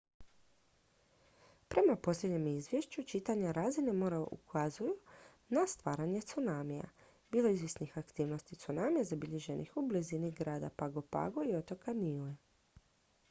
prema posljednjem izvješću čitanja razine mora ukazuju na stvaranje tsunamija bilo je izvjesnih aktivnosti tsunamija zabilježenih u blizini grada pago pago i otoka niue